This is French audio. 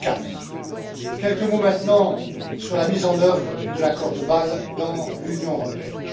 4. Quelques mots maintenant sur la mise en œuvre de l'accord de Bâle dans l'Union européenne.